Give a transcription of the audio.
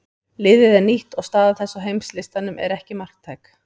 Liðið er nýtt og staða þess á heimslistanum er ekki marktæk.